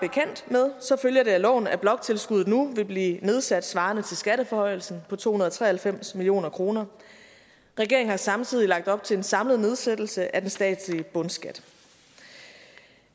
som følger det af loven at bloktilskuddet nu vil blive nedsat svarende til skatteforhøjelsen på to hundrede og tre og halvfems million kroner regeringen har samtidig lagt op til en samlet nedsættelse af den statslige bundskat